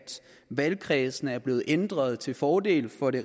valgkredsene er blevet ændret til fordel for det